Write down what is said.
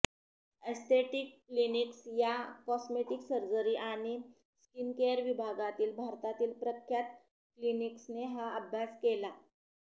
aesthetic clinics या cosmetic surgery आणि skincare विभागातील भारतातील प्रख्यात क्लिनिक्सने हा अभ्यास केला